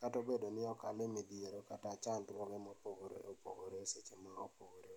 kata obedo ni okale midhiero kata chandruogre mopogore opogore seche ma opogore opogore